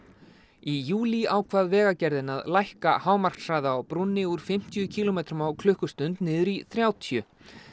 í júlí ákvað Vegagerðin að lækka hámarkshraða á brúnni úr fimmtíu kílómetrum á klukkustund niður í þrjátíu